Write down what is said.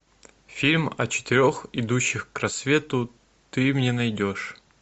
фильм о четырех идущих к рассвету ты мне найдешь